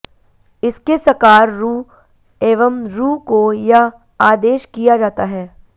इसके सकार रु एवं रु को य् आदेश किया जाता है